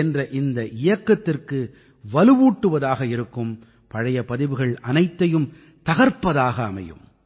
என்ற இந்த இயக்கத்திற்கு வலுவூட்டுவதாக இருக்கும் பழைய பதிவுகள் அனைத்தையும் தகர்ப்பதாக அமையும்